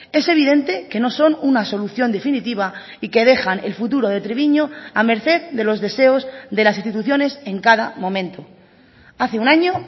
es evidente que no son una solución definitiva y que dejan el futuro de treviño a merced de los deseos de las instituciones en cada momento hace un año